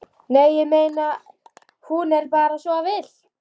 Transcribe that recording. Nei, ég meina. hún er bara svo villt.